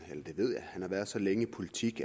har været så længe i politik